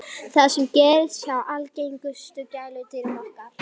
það sama gerist hjá algengustu gæludýrum okkar